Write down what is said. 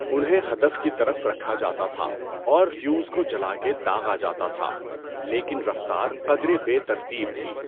انہیں ہدف کی طرف رکھا جاتا تھا اور فیوز کو جلا کے داغا جاتا تھا، لیکن رفتار قدرے بے ترتیب تھی۔